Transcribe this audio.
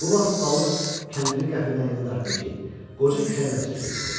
Bu vaxt balıq kəndiri qəfildən elə dartdı ki, qoca kəlləsi üstə yıxıldı.